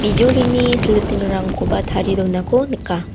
bijolini silitingrangkoba tarie donako nika.